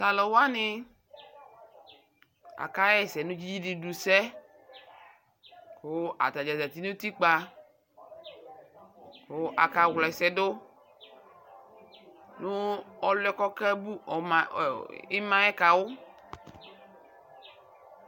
Talu wane aka yɛsɛ no dzidudu sɛ ko ata zati no utikpa ko aka wla asɛ do no aluɛ kɔke bu ɔma, imaɛ ka wo